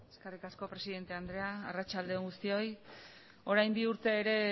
eskerrik asko presidente andrea arratsalde on guztioi orain bi urte ere